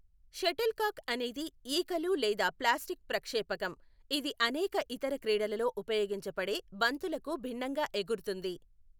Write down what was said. Shuttlecock అనేది ఈకలు లేదా ప్లాస్టిక్ ప్రక్షేపకం, ఇది అనేక ఇతర క్రీడలలో ఉపయోగించబడే బంతులకు భిన్నంగా ఎగురుతుంది.